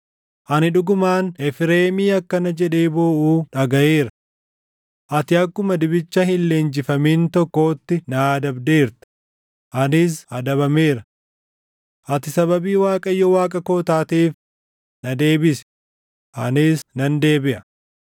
“Ani dhugumaan Efreemii akkana jedhee booʼu dhagaʼeera: ‘Ati akkuma dibicha hin leenjifamin tokkootti na adabdeerta; anis adabameera. Ati sababii Waaqayyo Waaqa koo taateef, na deebisi; anis nan deebiʼa.